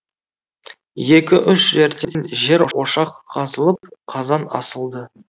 екі үш жерден жер ошақ қазылып қазан асылды